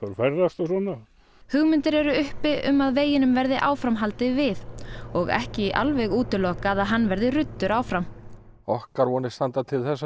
ferðast og svona hugmyndir eru uppi um að veginum verði áfram haldið við og ekki alveg útilokað að hann verði ruddur áfram okkar vonir standa til þess að